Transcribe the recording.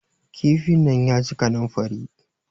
kifin nan ya ji kaninfari